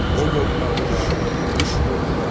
Ov ovladılar, quş vurdular.